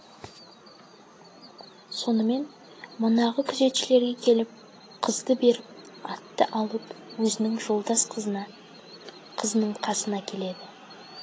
сонымен манағы күзетшілерге келіп қызды беріп атты алып өзінің жолдас қызына қызының қасына келеді